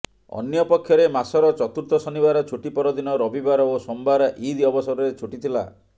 ଅନ୍ୟପକ୍ଷରେ ମାସର ଚତୁର୍ଥ ଶନିବାର ଛୁଟି ପରଦିନ ରବିବାର ଓ ସୋମବାର ଇଦ୍ ଅବସରରେ ଛୁଟି ଥିଲା